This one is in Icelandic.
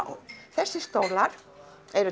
þessir stólar eru